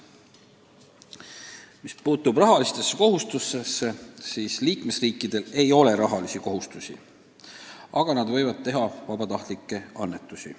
Mis puutub rahalistesse kohustustesse, siis liikmesriikidel ei ole rahalisi kohustusi, aga nad võivad teha vabatahtlikke annetusi.